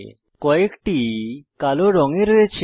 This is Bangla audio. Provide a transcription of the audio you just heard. কয়েকটি কালো রঙে রয়েছে